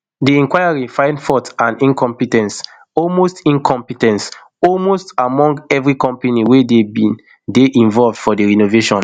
di inquiry find fault and incompe ten ce almost incompe ten ce almost among every company wey bin dey involved for di renovation